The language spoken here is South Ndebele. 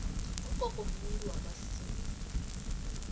ugogo mumuntu wamasiko